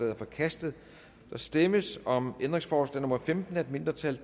er forkastet der stemmes om ændringsforslag nummer femten af et mindretal